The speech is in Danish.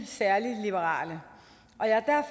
særlig liberale jeg er